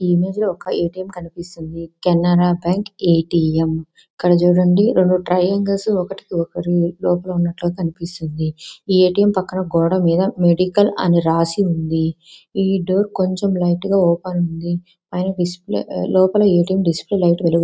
ఈ ఇమేజ్ లో ఒక ఏటీఎం కనిపిస్తుంది. కెనరా బ్యాంక్ ఎటిఎం ఇక్కడ చూడండి. రెండు ట్రయాంగిల్ ఒకటి లోపల ఉన్నట్టుగా కనిపిస్తుంది. ఏటీఎం పక్కన గోడ మీద మెడికల్ అని రాసి ఉంది .ఈ డోర్ట్ లైట్ గా ఓపెన్ ఉంది. లోపల ఏటీఎం డిస్ప్లే లైట్ --